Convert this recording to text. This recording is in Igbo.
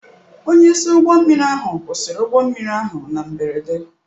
Onyeisi ụgbọ mmiri ahụ kwụsịrị ụgbọ mmiri ahụ na mberede.